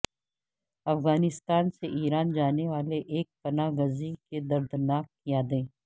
افغانستان سے ایران جانے والے ایک پناہ گزیں کی دردناک یادیں